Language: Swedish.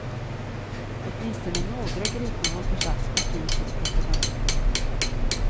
Åtminstone några gripna har försatts på fri fot efter bara en dag.